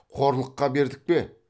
қорлыққа бердік пе